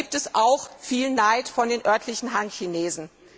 Da gibt es auch viel Neid von den örtlichen Han Chinesen.